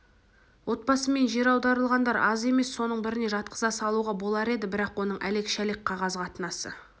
отбасымен жер аударылғандар аз емес соның біріне жатқыза салуға болар еді бірақ оның әлек-шәлек қағаз қатынасы